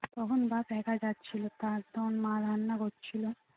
তখন বাপ্ এক যাচ্ছিলো তারপর মা রান্না করছিলো